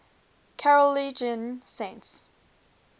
carolingian saints